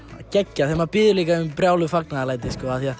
geggjað þegar maður biður líka um brjáluð fagnaðarlæti